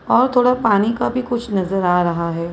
और थोड़ा पानी का भी कुछ नजर आ रहा है।